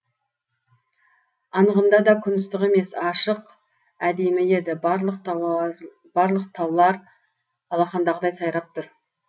анығында да күн ыстық емес ашық әдемі еді барлық таулар алақандағыдай сайрап тұр